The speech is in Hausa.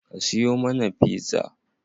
Ka siyo mana pizza?